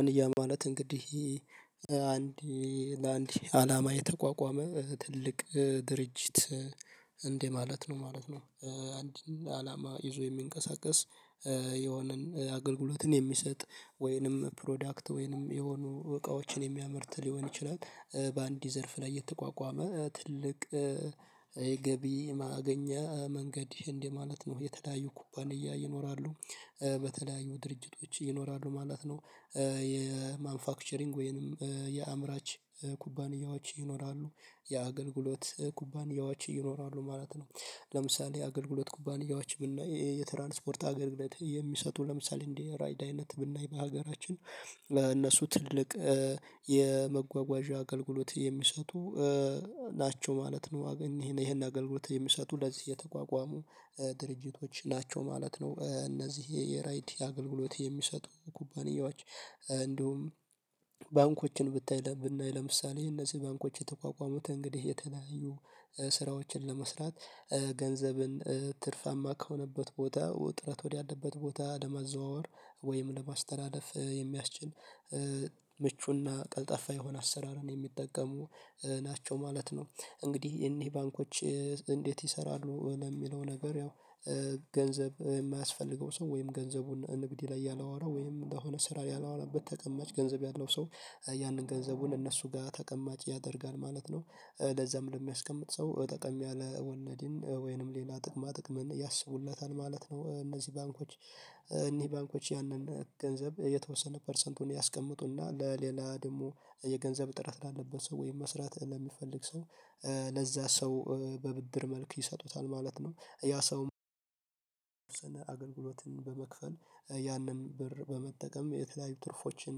አንድ ያ ማለት እንግዲህ አንድ ለአንድ አላማ የተቋቋመ ትልቅ ድርጅት እንደማለት ነው ማለት ነው። አንድን አላማ ይዞ የሚንቀሳቀስ የሆነን አገልግሎትን የሚሰጥ ወይንም ፕሮዳክት ወይንም የሆኑ እቃዎችን የሚያመርት ሊሆን ይችላል። በአንድ ዘርፍ ላይ የተቋቋመ ትልቅ የገቢ ማገኛ መንገድ እንደ ማለት ነው የተዳዩ ኩባንያ ይኖራሉ በተዳዩ ድርጅቶች ይኖራሉ ማለት ነው። የማንፋክቸሪንግ ወይንም የአምራች ኩባንያዎች ይኖራሉ የአገልግሎት ኩባንያዎች ይኖራሉ ማለት ነው። ለምሳሌ የአገልግሎት ኩባንያዎች ብናይ የትራንስፖርት አገልግሎት የሚሰጡ ለምሳሌ እንደ ራይድ አይነት ብናይ በሀገራችን እነሱ ትልቅ የመጓጓዣ አገልግሎት የሚሰጡ ናቸው ማለት ነው። ይሄን አገልግሎት የሚሰጡ ለዚህ የተቋቋሙ ድርጅቶች ናቸው ማለት ነው እነዚህ የራይድ የአገልግሎት የሚሰጡ ኩባንያዎች። እንዲሁም ባንኮችን ብናይ ለምሳሌ እነዚህ ባንኮች የተቋቋሙት እንግዲህ የተለያዩ ስራዎችን ለመስራት ገንዘብን ትርፋማ ከሆነበት ቦታ ጥረት ወዳለበት ቦታ ለማዘዋወር ወይም ለማስተላለፍ የሚያስችል ምቹና ቀልጠፋ የሆነ አሰራርን የሚጠቀሙ ናቸው ማለት ነው። እንግዲህ እነዚህ ባንኮች እንዴት ይሰራሉ ለሚለው ነገር ያው ገንዘብ የማያስፈልገው ሰው ወይም ገንዘቡን ንግድ ላይ ያላዋለው ወይም ለሆነ ስራ ያላወለበት ተቀማጭ ገንዘብ ያለው ሰው ያንን ገንዘቡን እነሱ ጋር ተቀማጭ ያደርጋል ማለት ነው። ለዛም ለሚያስቀምጥ ሰው ጠቀም ያለ ወለድን ወይንም ሌላ ጥቅማ ጥቅምን ያስቡለታል ማለት ነው እነዚህ ባንኮች እነዚህ ባንኮች ያንን ገንዘብ የተወሰነ ፐርሰንቱን ያስቀምጡና ለሌላ ደግሞ የገንዘብ ጥረት ላለበት ሰው ወይም መስራት ለሚፈልግ ሰው ለዛ ሰው በብድር መልክ ይሰጡታል ማለት ነው። ያ ሰው አገልግሎትን በመክፈል ያንን ብር በመጠቀም የተለያዩ ትርፎችን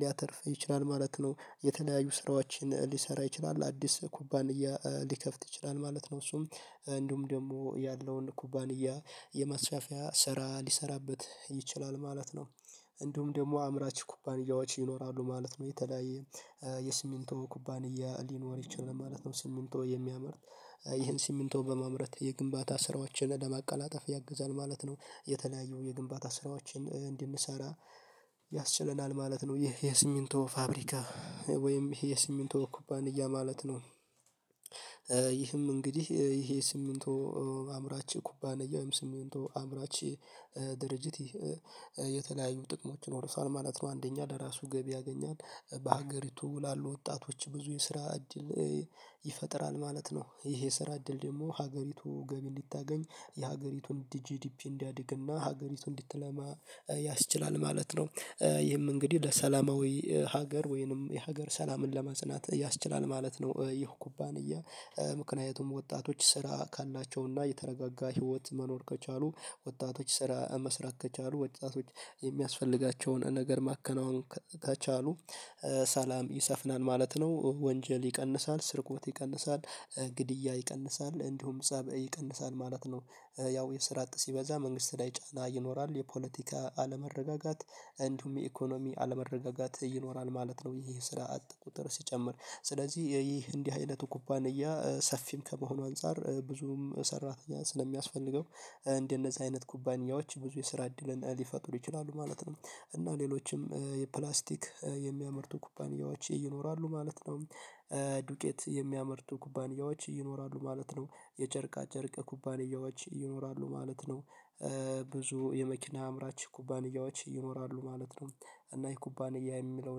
ሊያተርፍ ይችላል ማለት ነው። የተለያዩ ስራዎችን ሊሰራ ይችላል አዲስ ኩባንያ ሊከፍት ይችላል ማለት ነው። እሱም እንዲሁ ደግሞ ያለውን ኩባንያ የማስፋፊያ ስራ ሊሰራበት ይችላል ማለት ነው። እንዲሁም ደግሞ አምራች ኩባንያዎች ይኖራሉ ማለት ነው። የተለያየ የስሚንቶ ኩባንያ ሊኖር ይችላል ማለት ነው ሲሚንቶ የሚያመርት ይሄን ስሚንቶ በማምረት የግንባታ ስራዎችን ለማቀላጠፍ ያግዛል ማለት ነው። የተለያየው የግንባታ ስራዎችን እንድንሰራ ያስችለናል ማለት ነው። ይሄ የሲሚንቶ ፋብሪካ ወይም ይሄ የሲሚንቶ ኩባንያ ማለት ነው። ይህም እንግዲህ ይሄ ሲሚንቶ አምራች ኩባንያ ወይም ሲሚንቶ አምራች ድርጅት የተለያዩ ጥቅሞች ይኖሩታል ማለት ነው። አንደኛ ለራሱ ገቢ ያገኛል በሀገሪቱ ላሉ ወጣቶች ብዙ የስራ እድል ይፈጥራል ማለት ነው። ይህ የስራ እድል ደግሞ ሀገሪቱ ገቢ እንድታገኝ የሀገሪቱን ጂዲፒ እንዲያድግና ሀገሪቱ እንድተላማ ያስችላል ማለት ነው። ይህም እንግዲህ ለሰላማዊ ሀገር ወይንም የሀገር ሰላምን ለማጽናት ያስችላል ማለት ነው። ይህ ኩባንያ ምክንያቱም ወጣቶች ስራ ካላቸውና የተረጋጋ ህይወት መኖር ከቻሉ ወጣቶች ስራ መስራት ከቻሉ ወጣቶች የሚያስፈልጋቸውን ነገር ማከናወን ከቻሉ ሰላም ይሰፍናል ማለት ነው ወንጀል ይቀንሳል ስርቆት ይቀንሳል ግድያ ይቀንሳል እንዲሁም ፀብ ይቀንሳል ማለት ነው። ያው የስራ አጥ ሲበዛ መንግስት ላይ ጫና ይኖራል የፖለቲካ አለመረጋጋት እንዲሁም የኢኮኖሚ አለመረጋጋት ይኖራል ማለት ነው። ይህ ስራ አጥ ቁጥር ሲጨምር ስለዚህ ይህ እንዲህ አይነቱ ኩባንያ ሰፊም ከመሆኑ አንፃር ብዙም ሰራተኛ ስለሚያስፈልገው እንደነዚህ አይነት ኩባንያዎች ብዙ የስራ እድል ሊፈጥሩ ይችላሉ ማለት ነው። እና ሌሎችም የፕላስቲክ የሚያመርቱ ኩባንያዎች ይኖራሉ ማለት ነው። ዱቄት የሚያመርቱ ኩባንያዎች ይኖራሉ ማለት ነው። የጨርቃ ጨርቅ ኩባንያዎች ይኖራሉ ማለት ነው። ብዙ የመኪና አምራች ኩባንያዎች ይኖራሉ ማለት ነው። እና የኩባንያ የሚለው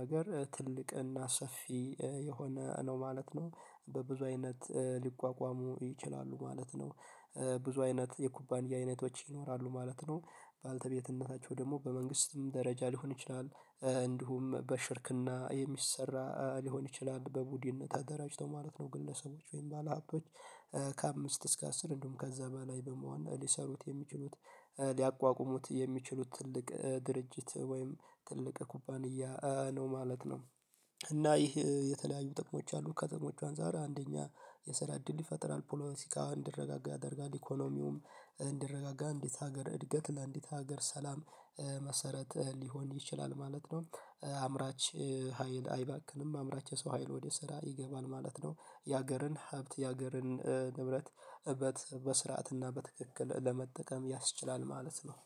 ነገር ትልቅ እና ሰፊ የሆነ ነው ማለት ነው። በብዙ አይነት ሊቋቋሙ ይችላሉ ማለት ነው። ብዙ አይነት የኩባንያ አይነቶች ይኖራሉ ማለት ነው። ባልተቤትነታቸው ደግሞ በመንግስትም ደረጃ ሊሆን ይችላል እንዲሁም በሽርክና የሚሰራ ሊሆን ይችላል በቡድን ተደራጅተው ማለት ነው ግለሰቦች ወይም ባለሀቦች ከአምስት እስከ አስር እንዲሁም ከዛ በላይ በመሆን ሊሰሩት የሚችሉት ሊያቋቁሙት የሚችሉት ትልቅ ድርጅት ወይም ትልቅ ኩባንያ ነው ማለት ነው። እና ይህ የተለያዩ ጥቅሞች አሉ ከተሞች አንፃር አንደኛ የሰራ እድል ይፈጥራል ፖለቲካ እንዲረጋጋ ያደርጋል ኢኮኖሚውም እንዲረጋጋ ለአንዲት ሀገር እድገት እና ለእንዲት ሀገር ሰላም መሰረት ሊሆን ይችላል ማለት ነው። አምራች ሀይል አይባክንም አምራች የሰው ሀይል ወደ ስራ ይገባል ማለት ነው። የሀገርን ሀብት የሀገርን ንብረት እበት በስርዓትና በትክክል ለመጠቀም ያስችላል ማለት ነው